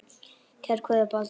Kær kveðja, Baldur